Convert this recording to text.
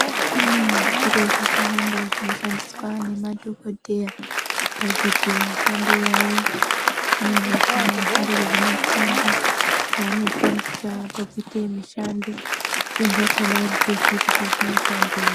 Kune zviro zvakawanda zvino shandiswa ne madhokodheya pakuite mishando yavo zvimweni zvakona zvingori zvi masimbi zva ano shandisa paku ite mishando zvimweni zvakona andito ziii kuti zvino shandei.